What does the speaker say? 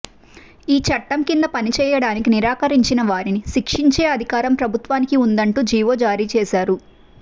ఈ చట్టం కింద పనిచేయడానికి నిరాకరించిన వారిని శిక్షించే అధికారం ప్రభుత్వానికి ఉందంటూ జీవో జారీ చేశారు